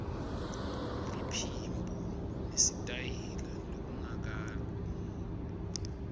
liphimbo nesitayela lokungakalungi